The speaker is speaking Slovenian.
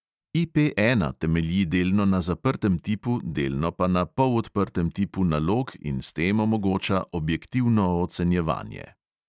IP ena temelji delno na zaprtem tipu, delno pa na polodprtem tipu nalog in s tem omogoča objektivno ocenjevanje.